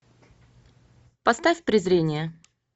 поставь презрение